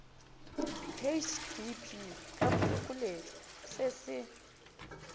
hdp ka phokoletšo se se